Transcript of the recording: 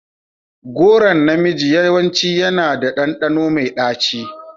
Goron na miji yawanci yana da ɗanɗano mai ɗaci.